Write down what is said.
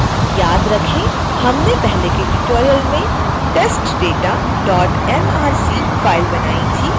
याद रखें हमने पहले के ट्यूटोरियल में testdatamrc फाइल बनाई थी